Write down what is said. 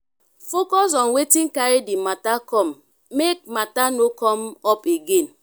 focus on wetin carri di matter come make matter no come up again